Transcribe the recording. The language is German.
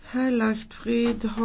Frau Präsidentin!